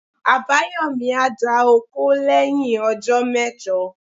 Abayomi a dà òkó leyin òjó mejò.